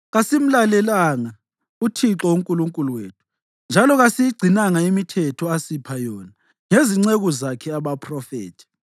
kasimlalelanga uThixo uNkulunkulu wethu, njalo kasiyigcinanga imithetho asipha yona ngezinceku zakhe abaphrofethi.